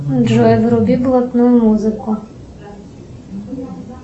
джой вруби блатную музыку